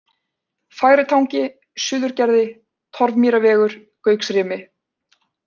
Fagri Tangi, Suðurgerði, Torfmýrarvegur, Gauksrimi